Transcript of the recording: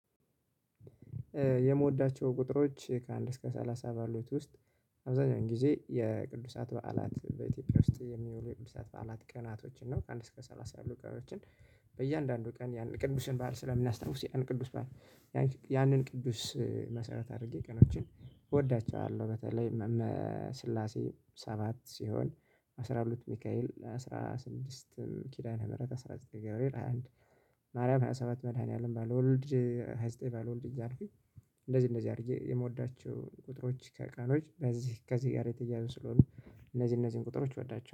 የምወዳቸው ቁጥሮች ከአንድ እስከ ሰላሳ ባሉት ውስጥ አብዛኛውን ጊዜ የቅዱሳት በዓላት በኢትዮጵያ ውስጥ የሚውሉ የቅዱሳት በዓላት ቀናቶችን ነው። ከአንድ እስከ ሰላሳ ያሉ ቀኖችን በእያንዳንዱ ቀን ቅዱስን ባል ስለሚያስታውስ ያንን ቅዱስ ባል ያንን ቅዱስ መሰረት አድርጌ ቀኖችን እወዳቸዋለሁ። በተለይ ስላሴ ሰባት ሲሆን አስራ ሁለት ሚካኤል አስራ ስድስት ኪዳነ ምህረት አስራ ዘጠኝ ገብሬል ሃያ አንድ ማርያም ሃያ ሰባት መድኃኒዓለም ባለወልድ ሃያ ዘጠኝ ባለወልድ እያልኩኝ። እንደዚህ እንደዚህ አድርጌ የምወዳቸው ቁጥሮች ከቃሎች በዚህ ከዚህ ጋር የተያያዘ ስለሆኑ እነዚህ እነዚህን ቁጥሮች ወዳቸው